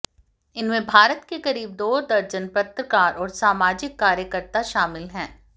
इनमें भारत के करीब दो दर्जन पत्रकार और सामाजिक कार्यकर्ता शामिल हैं